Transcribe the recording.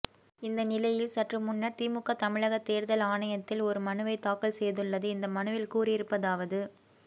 இந்த நிலையில் சற்று முன்னர் திமுக தமிழக தேர்தல் ஆணையத்தில் ஒரு மனுவை தாக்கல் செய்துள்ளது இந்த மனுவில் கூறியிருப்பதாவது